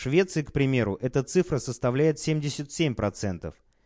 швеции к примеру эта цифра составляет семьдесят семь процентов